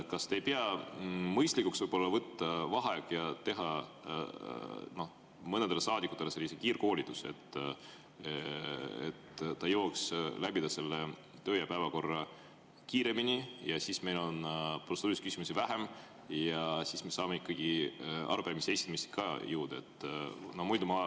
Kas te ei pea mõistlikuks võtta vaheaeg ja teha mõnele saadikule kiirkoolitus, et nad jõuaks selle töö‑ ja korra läbida kiiremini, siis on meil protseduurilisi küsimusi vähem ja me saame ikkagi jõuda ka arupärimiste esitamiseni?